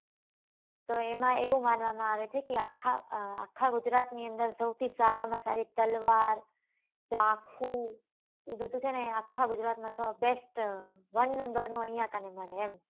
તો એમાં એવું માનવા માં આવે છે કે આખા આખા ગુજરાત ની અંદર સૌથી સારા માં સારી તલવાર ચાકુ એ બધું છે ને આખા ગુજરાત નાં તો best onenumber નું અહિયાં કને મળે એમ.